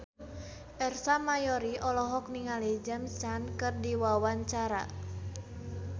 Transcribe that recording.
Ersa Mayori olohok ningali James Caan keur diwawancara